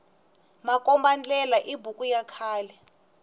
makomba ndlela i buku ya khale